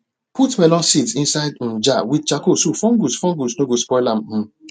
put melon seeds inside um jar with charcoal so fungus fungus no go spoil am um